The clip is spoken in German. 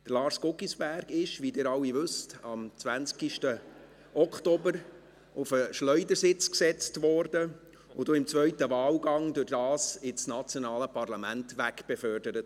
Lars Guggisberg wurde, wie ihr alle wisst, am 20. Oktober 2019 auf den Schleudersitz gesetzt und wurde dadurch im zweiten Wahlgang ins nationale Parlament wegbefördert.